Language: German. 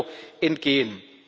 EUR entgehen.